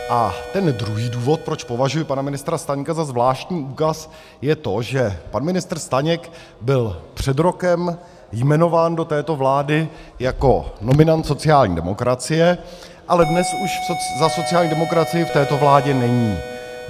A ten druhý důvod, proč považuji pana ministra Staňka za zvláštní úkaz, je to, že pan ministr Staněk byl před rokem jmenován do této vlády jako nominant sociální demokracie, ale dnes už za sociální demokracii v této vládě není.